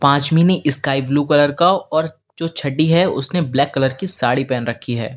पांचवीं ने sky blue colour का और जो छठी है उसने ब्लैक कलर की साड़ी पहन रखी है।